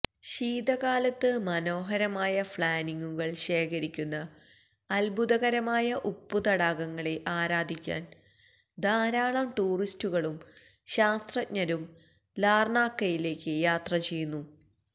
ശീതകാലത്ത് മനോഹരമായ ഫ്ളാനിംഗുകൾ ശേഖരിക്കുന്ന അത്ഭുതകരമായ ഉപ്പ് തടാകങ്ങളെ ആരാധിക്കാൻ ധാരാളം ടൂറിസ്റ്റുകളും ശാസ്ത്രജ്ഞരും ലാർണാക്കയിലേക്ക് യാത്ര ചെയ്യുന്നു